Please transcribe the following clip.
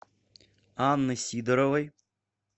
анны сидоровой